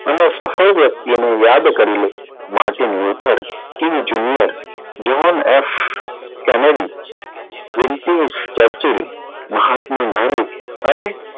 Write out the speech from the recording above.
અને સફળ વ્યક્તિઓ ને યાદ કરી લઉં મહાત્મા ગાંધી